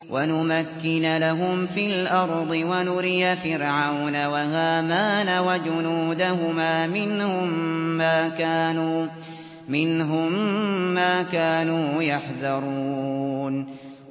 وَنُمَكِّنَ لَهُمْ فِي الْأَرْضِ وَنُرِيَ فِرْعَوْنَ وَهَامَانَ وَجُنُودَهُمَا مِنْهُم مَّا كَانُوا يَحْذَرُونَ